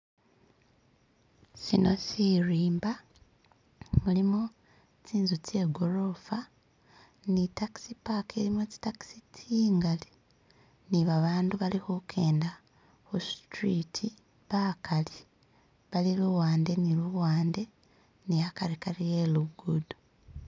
Shino shilimba mulimu zinzu zegolofa ni takisi paaka ilimo zitakisi zingali ni abantu balikujenda kusituriti bagali bali luwande ni luwande ni agatigati we lugudo.